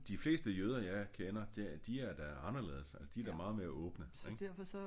De fleste jøder jeg kender de er da anderledes altså de er da meget mere åbne ik